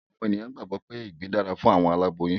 Àwọn ènìyàn gbàgbọ́ wípé ìgbín dára fún àwọn aláboyún